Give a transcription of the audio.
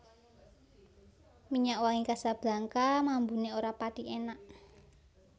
Minyak wangi Casablanca mambune ora pathi enak